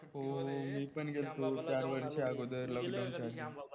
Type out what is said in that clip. हो मी पण गेल्तो चार वर्षाअगोदर lockdown च्या आधी